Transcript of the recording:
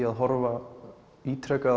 að horfa á ítrekað